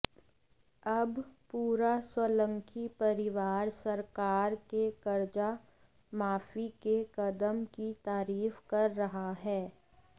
अब पूरा सोलंकी परिवार सरकार के कर्जा माफी के कदम की तारीफ कर रहा है